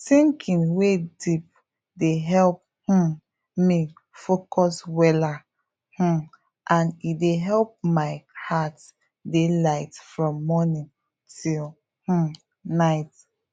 thinking wey deep dey help um me focus weller um and e dey help my heart dey light from morning till um night